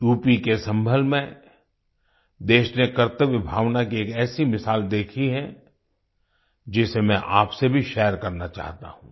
यूपीके सम्भल में देश ने कर्तव्य भावना की एक ऐसी मिसाल देखी है जिसे मैं आपसे भी शेयर करना चाहता हूँ